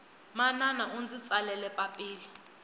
manana undzi tsalele papila